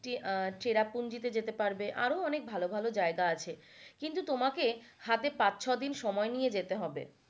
চেরাপুঞ্জিতে যেতে পারবে আরো অনেক ভালো ভালো জায়গা আছে কিন্তু তোমাকে হাতে পাঁচ ছদিন সময় নিয়ে যেতে হবে।